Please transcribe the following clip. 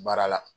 Baara la